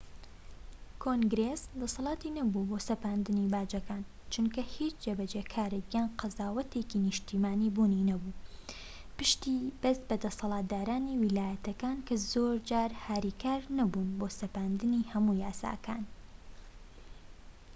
کۆنگرێس دەسەلاتی نەبوو بۆ سەپاندنی باجەکان چونکە هیچ جێبەجێکارێك یان قەزاوەتێکی نیشتیمانی بوونی نەبوو پشتی بەست بە دەسەڵاتدارانی ویلایەتەکان کە زۆرجار هاریکار نەبوون بۆ سەپاندنی هەموو یاساکان